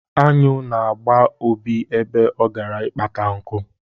Añụ na-agba Obi ebe ọ gara ịkpata nku.